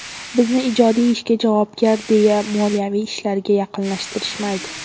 Bizni ijodiy ishga javobgar, deya moliyaviy ishlarga yaqinlashtirishmaydi.